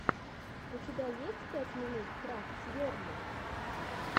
у тебя есть пять минут крафтс герли